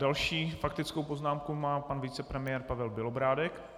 Další faktickou poznámku má pan vicepremiér Pavel Bělobrádek.